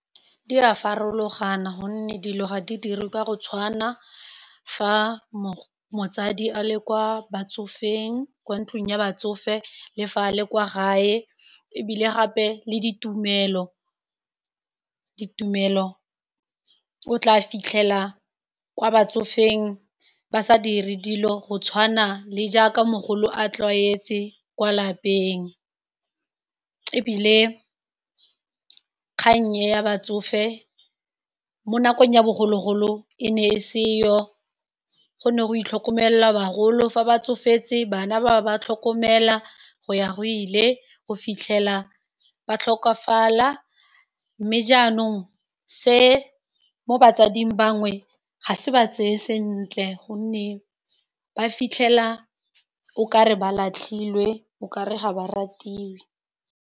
Di a farologana gonne dilo ga di dirwe kwa go tshwana fa motsadi a le kwa batsofeng kwa ntlung ya batsofe le fa le kwa gae e bile gape le ditumelo o tla fitlhela kwa batsofeng ba sa dire dilo go tshwana le jaaka mogolo a tlwaetse kwa lapeng e bile kgang e ya batsofe mo nakong ya bogologolo e ne e seyo go ne go itlhokomelelwa kagolo fa ba tsofetse bana ba ba tlhokomela go ya go ile go fitlhela ba tlhokafala, mme jaanong se mo batsading bangwe ga se ba tseye sentle, gonne ba fitlhela o kare ba latlhilwe, o kare ga ba ratiwe.